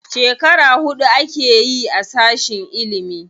Shekara huɗu akeyi a sashin ilimi.